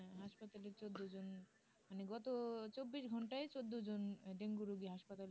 দুজন জন মানে গত চব্বিশ ঘন্টা চোদ্দ জন ডেঙ্গু রুগী হাসপাতালে যান